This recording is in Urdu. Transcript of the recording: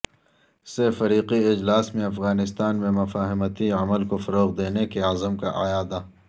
سہ فریقی اجلاس میں افغانستان میں مفاہمتی عمل کو فروغ دینے کے عزم کا اعادہ